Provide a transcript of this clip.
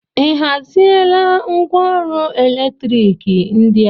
Ị haziela ngwaọrụ eletriki ndị a?